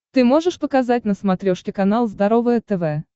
ты можешь показать на смотрешке канал здоровое тв